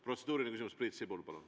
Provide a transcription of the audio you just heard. Protseduuriline küsimus, Priit Sibul, palun!